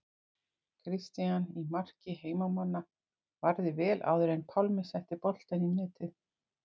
Christian í marki heimamanna varði vel áður en Pálmi setti boltann í netið.